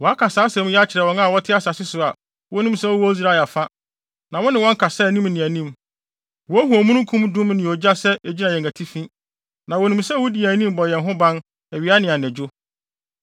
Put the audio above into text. Wɔaka saa asɛm yi akyerɛ wɔn a wɔte asase yi so a wonim sɛ wowɔ Israel afa, na wo ne wɔn kasa anim ne anim. Wohu omununkum dum ne ogya sɛ egyina yɛn atifi, na wonim sɛ wudi yɛn anim bɔ yɛn ho ban awia ne anadwo.